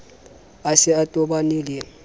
a se a tobane le